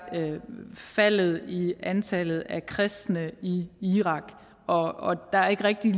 faldet i antallet af kristne i irak og der er ikke rigtig